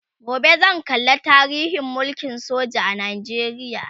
gobe zan kalla tarihin mulkin soja a Najeriya